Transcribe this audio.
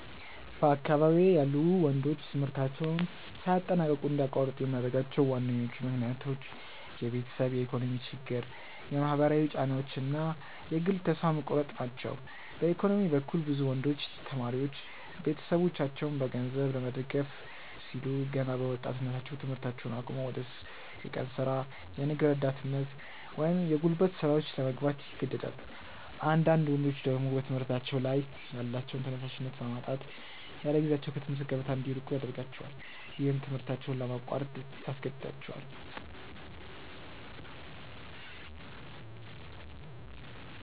በአካባቢዬ ያሉ ወንዶች ትምህርታቸውን ሳያጠናቅቁ እንዲያቋርጡ የሚያደርጓቸው ዋነኞቹ ምክንያቶች የቤተሰብ የኢኮኖሚ ችግር፣ የማህበራዊ ጫናዎች እና የግል ተስፋ መቁረጥ ናቸው። በኢኮኖሚ በኩል፣ ብዙ ወንዶች ተማሪዎች ቤተሰቦቻቸውን በገንዘብ ለመደገፍ ሲሉ ገና በወጣትነታቸው ትምህርታቸውን አቁመው ወደ የቀን ሥራ፣ የንግድ ረዳትነት ወይም የጉልበት ሥራዎች ለመግባት ይገደዳሉ። አንዳንዳድ ወንዶች ደግሞ በትምህርታቸው ላይ ያላቸውን ተነሳሽነት በማጣት ያለጊዜያቸው ከትምህርት ገበታ እንዲርቁ ያደርጋቸዋል። ይህም ትምህርታቸውን ለማቋረጥ ያስገድዳቸዋል።